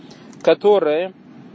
которая